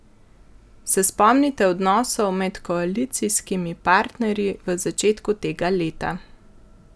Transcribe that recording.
Se spomnite odnosov med koalicijskimi partnerji v začetku tega leta?